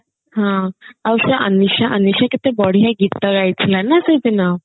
ହଁ ଆଉ ସେ ଅନିଶା ଅନିଶା କେତେ ବଢିଆ ଗୀତ ଗାଇଥିଲା ନା ସେଇଦିନ